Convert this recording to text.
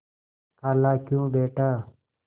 खालाक्यों बेटा